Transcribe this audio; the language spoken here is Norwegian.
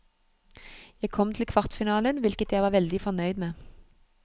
Jeg kom til kvartfinalen, hvilket jeg var veldig fornøyd med.